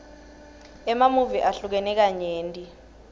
emamuvi ahlukene kanyenti